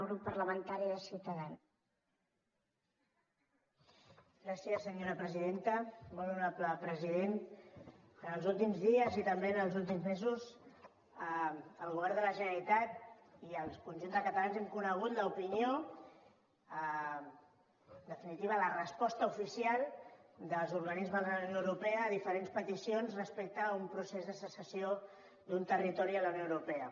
molt honorable president els últims dies i també els últims mesos el govern de la generalitat i el conjunt de catalans hem conegut l’opinió en definitiva la resposta oficial dels organismes de la unió europea a diferents peticions respecte a un procés de secessió d’un territori de la unió europea